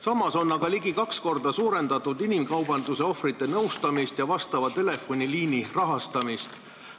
Samas on ligi kaks korda suurendatud inimkaubanduse ohvrite nõustamise ja vastava telefoniliini rahastamist.